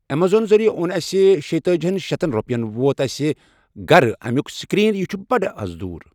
ایٚمازان ذٕریعہِ اوٚن اسہِ شیٚیہِ تٲجیَن شٮ۪تَن رۄپیَن، ووت اسہِ گَرٕ اَمیُک سِکریٖن، یہ چھُ بڑٕ اَز دوٗر۔